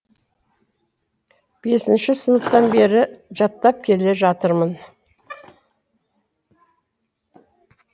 бесінші сыныптан бері жаттап келе жатырмын